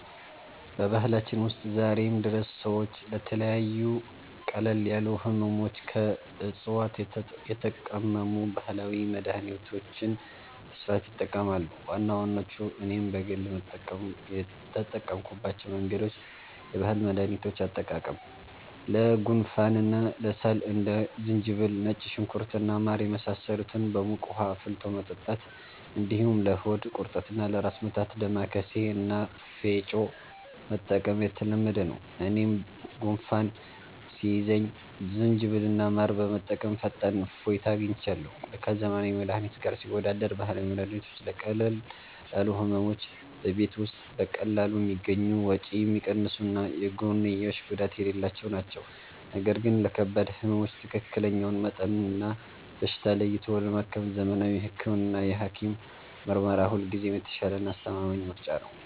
በባህላችን ውስጥ ዛሬም ድረስ ሰዎች ለተለያዩ ቀለል ያሉ ሕመሞች ከዕፅዋት የተቀመሙ ባህላዊ መድኃኒቶችን በስፋት ይጠቀማሉ። ዋና ዋናዎቹና እኔም በግል የተጠቀምኩባቸው መንገዶች፦ የባህል መድኃኒቶች አጠቃቀም፦ ለጉንፋንና ለሳል እንደ ዝንጅብል፣ ነጭ ሽንኩርት እና ማር የመሳሰሉትን በሙቅ ውኃ አፍልቶ መጠጣት፣ እንዲሁም ለሆድ ቁርጠትና ለራስ ምታት «ዳማከሴ» እና «ፌጦ» መጠቀም የተለመደ ነው። እኔም ጉንፋን ሲይዘኝ ዝንጅብልና ማር በመጠቀም ፈጣን እፎይታ አግኝቻለሁ። ከዘመናዊ መድኃኒት ጋር ሲወዳደር፦ ባህላዊ መድኃኒቶች ለቀለል ያሉ ሕመሞች በቤት ውስጥ በቀላሉ የሚገኙ፣ ወጪ የሚቀንሱና የጎንዮሽ ጉዳት የሌላቸው ናቸው። ነገር ግን ለከባድ ሕመሞች ትክክለኛውን መጠንና በሽታ ለይቶ ለማከም ዘመናዊ ሕክምናና የሐኪም ምርመራ ሁልጊዜም የተሻለና አስተማማኝ ምርጫ ነው።